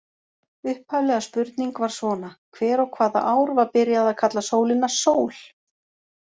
Upphafleg spurning var svona: Hver og hvaða ár var byrjað að kalla sólina sól?